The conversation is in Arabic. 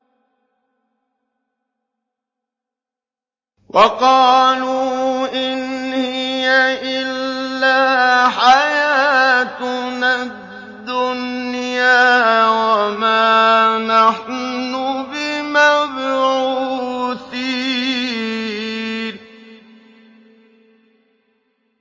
وَقَالُوا إِنْ هِيَ إِلَّا حَيَاتُنَا الدُّنْيَا وَمَا نَحْنُ بِمَبْعُوثِينَ